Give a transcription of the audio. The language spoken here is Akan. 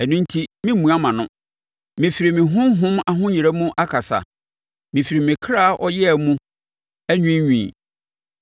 “Ɛno enti meremmua mʼano; mɛfiri me honhom ahoyera mu akasa, mɛfiri me kra ɔyea mu anwiinwii.